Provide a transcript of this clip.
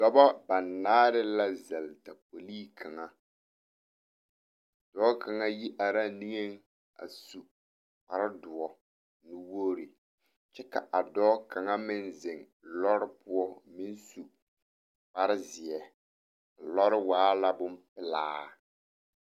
Dɔbɔ banaare la zɛle tapolii kaŋa dɔɔ kaŋa yi araa niŋeŋ a su kparedoɔ nuwogre kyɛ ka a dɔɔ kaŋa meŋ zeŋ lɔre poɔ ko meŋ su kparezeɛ lɔre waa la bonpelaa.